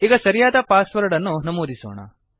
ಈಗ ಸರಿಯಾದ password ಅನ್ನು ನಮೂದಿಸೋಣ